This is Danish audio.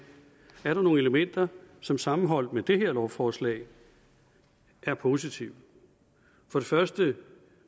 er der nogle elementer som sammenholdt med det her lovforslag er positive for det første